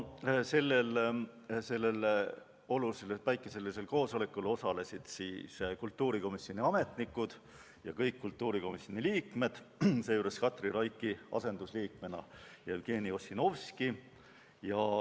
Sellel olulisel päikeselisel koosolekul osalesid kultuurikomisjoni ametnikud ja kõik kultuurikomisjoni liikmed, seejuures Katri Raigi asendusliikmena Jevgeni Ossinovski.